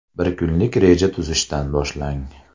Bir kunlik reja tuzishdan boshlang.